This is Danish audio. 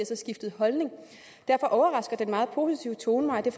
så skiftet holdning derfor overrasker den meget positive tone mig og det